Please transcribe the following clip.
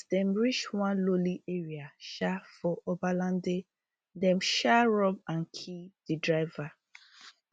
as dem reach one lonely area um for obalende dem um rob and kill di driver